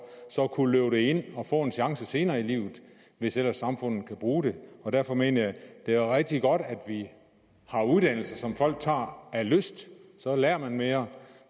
så at kunne løbe det ind og få en chance senere i livet hvis ellers samfundet kan bruge det derfor mener jeg at det er rigtig godt at vi har uddannelse som folk tager af lyst så lærer man mere